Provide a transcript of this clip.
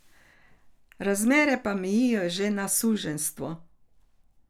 Razmere pa mejijo že na suženjstvo.